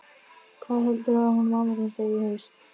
Hvað heldurðu að hún mamma þín segi í haust?